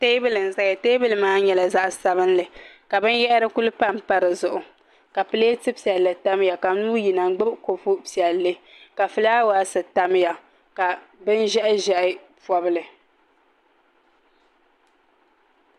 Teebuli n ʒɛya teebuli maa nyɛla zaɣ sabinli ka binyahari ku panpa di zuɣu ka pileeti piɛlli tamya ka nuu yina n gbubi kopu piɛlli ka fulaawaasi tamya ka bin ʒiɛhi ʒiɛhi pobli